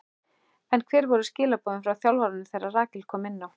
En hver voru skilaboðin frá þjálfaranum þegar Rakel kom inná?